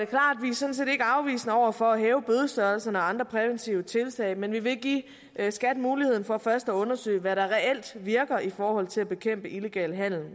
sådan set ikke afvisende over for at hæve bødestørrelserne og andre præventive tiltag men vi vil give skat muligheden for først at undersøge hvad der reelt virker i forhold til at bekæmpe illegal handel